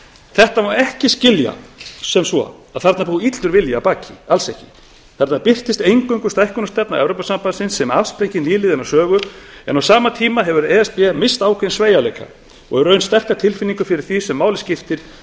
þetta má ekki skilja svo að þarna búi illur vilji að baki alls ekki þarna birtist eingöngu stækkunarstefna evrópusambandsins sem afsprengi nýliðinnar sögu en á sama tíma hefur e s b misst ákveðinn sveigjanleika og í raun sterka tilfinningu fyrir því sem máli skiptir